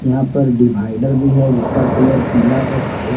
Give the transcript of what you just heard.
यहां पर डिवाइडर भी है जिसका कलर पिला और काला--